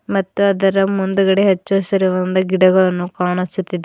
ಮತ್ತು ಅದರ ಮುಂದ್ಗಡೆ ಹಚ್ಚ ಹಸಿರುದಿಂದ ಗಿಡಗಳನ್ನು ಕಾಣಿಸುತ್ತಿದೆ.